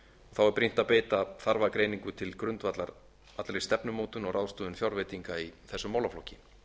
þá er brýnt að beita þarfagreiningu til grundvallar allri stefnumótun og ráðstöfun fjárveitinga í þessum málaflokki